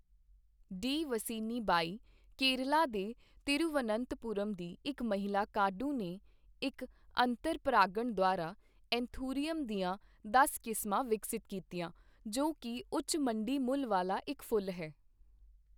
D Vasini Bai, Kerala ਦੇ ਤਿਰੂਵਨੰਤਪੁਰਮ ਦੀ ਇੱਕ ਮਹਿਲਾ ਕਾਢੂ ਨੇ ਇੱਕ ਅੰਤਰ ਪਰਾਗਣ ਦੁਆਰਾ ਐਂਥੂਰੀਅਮ ਦੀਆਂ ਦਸ ਕਿਸਮਾਂ ਵਿਕਸਤ ਕੀਤੀਆਂ, ਜੋ ਕੀ ਉੱਚ ਮੰਡੀ ਮੁੱਲ ਵਾਲਾ ਇੱਕ ਫੁੱਲ ਹੈ।